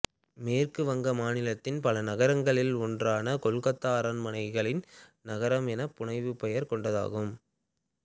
மேற்கு வங்க மாநிலத்தின் பல நகரங்களில் ஒன்றான கொல்கத்தா அரண்மனைகளின் நகரம் என புனைப்பெயர் கொண்டதாகும்